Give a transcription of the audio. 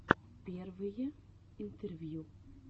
первые интервью